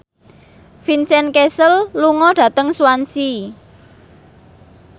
Vincent Cassel lunga dhateng Swansea